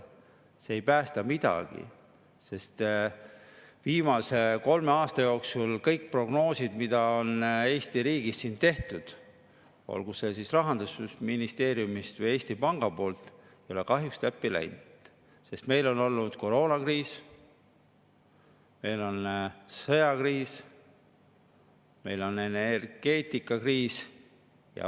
See ei päästa midagi, sest viimase kolme aasta jooksul kõik prognoosid, mis on siin Eesti riigis tehtud, olgu see siis Rahandusministeeriumi või Eesti Panga, ei ole kahjuks täppi läinud, sest meil on olnud koroonakriis, meil on sõjakriis, meil on energeetikakriis.